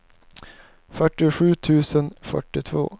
fyrtiosju tusen fyrtiotvå